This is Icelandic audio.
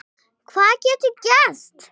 Hvað getur gerst?